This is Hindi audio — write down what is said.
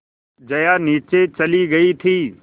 जया नीचे चली गई थी